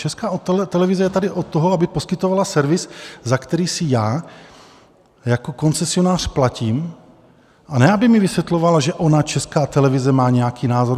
Česká televize je tady od toho, aby poskytovala servis, za který si já jako koncesionář platím, a ne, aby mi vysvětlovala, že ona, Česká televize, má nějaký názor.